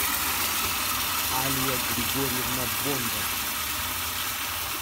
алия григорьевна бондарь